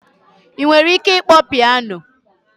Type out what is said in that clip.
Ị nwere ike ịkpọ piano?